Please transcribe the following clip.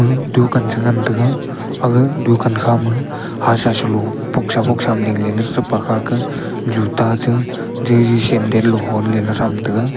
ema dukan chengan taiga aga dukan khama hasha shelo boxsa boxsa ma dingleley threpa khaka juta che jiji sandle lo honleley thram taiga